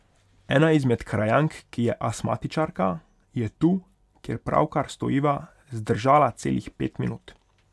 Ena izmed krajank, ki je astmatičarka, je tu, kjer pravkar stojiva, zdržala celih pet minut.